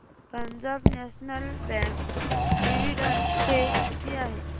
Punjab national bank dividend pay किती आहे